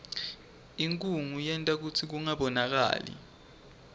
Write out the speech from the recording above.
inkhunga yenta kutsi kungabonakali